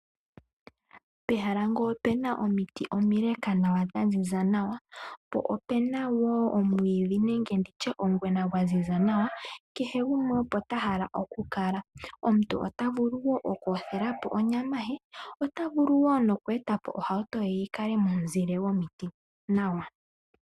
Pehala ngele opena omiti imile dha ziza nawa nenge omwiidhi gwaziza nawa kehe gumwe opota hala okukala , omuntu ota vulu wo okuyothelapo onyama nenge etepo ohauto ye yikale momuzile.